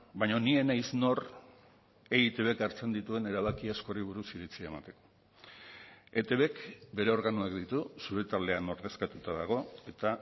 baina ni ez naiz nor eitbk hartzen dituen erabaki askori buruz iritzia emateko etbk bere organoak ditu zure taldea han ordezkatuta dago eta